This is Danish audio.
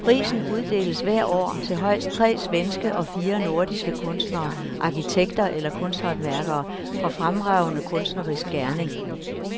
Prisen uddeles hvert år til højst tre svenske og fire nordiske kunstnere, arkitekter eller kunsthåndværkere for fremragende kunstnerisk gerning.